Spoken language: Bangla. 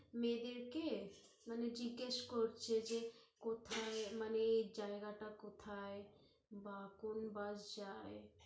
মেয়েদেরকে, মানে জিজ্ঞেস করছে যে, কোথায়, মানে, জায়গা টা কোথায় বা কোন bus যায়